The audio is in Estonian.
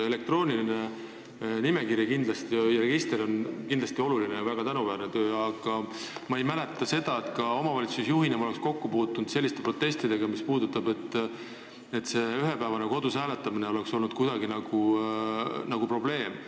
Elektrooniline nimekiri ja register on kindlasti oluline ja väga tänuväärne töö, aga ma ei mäleta, et ka omavalitsusjuhina ma oleksin kokku puutunud protestidega, et ühepäevane kodus hääletamine oleks olnud nagu probleem.